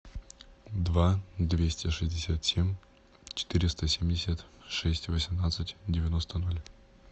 два двести шестьдесят семь четыреста семьдесят шесть восемнадцать девяносто ноль